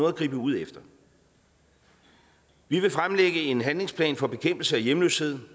at gribe ud efter vi vil fremlægge en handlingsplan for bekæmpelse af hjemløshed